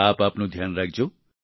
આપ આપનું ધ્યાન રાખજો